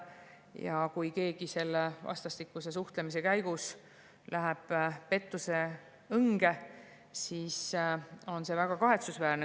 Ja kui keegi läheb vastastikuse suhtlemise käigus pettuse õnge, siis on see väga kahetsusväärne.